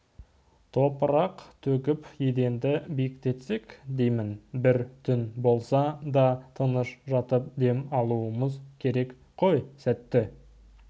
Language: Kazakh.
топырақ төгіп еденді биіктетсек деймін бір түн болса да тыныш жатып дем алуымыз керек қой сәтті